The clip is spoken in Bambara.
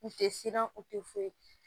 U tɛ siran u tɛ foyi